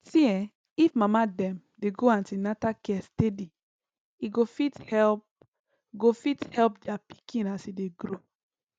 see[um]if mama dem dey go an ten atal care steady e go fit help go fit help their pikin as e dey grow